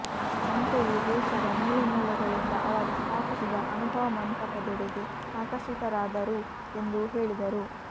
ಅಂತೆಯೇ ದೇಶದ ಮೂಲೆ ಮೂಲೆಗಳಿಂದ ಅವರು ಸ್ಥಾಪಿಸಿದ ಅನುಭವ ಮಂಟಪದೆಡೆಗೆ ಆಕರ್ಷಿತರಾದರು ಎಂದು ಹೇಳಿದರು